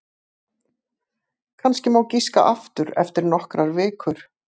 Kannski má giska aftur eftir nokkrar vikur.